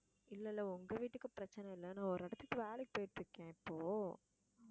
இல்லை இல்லை உங்க வீட்டுக்கு பிரச்சனை இல்லைன்னு ஒரு இடத்துக்கு வேலைக்கு போயிட்டு இருக்கேன் இப்போ